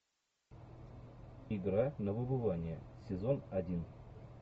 игра на выбывание сезон один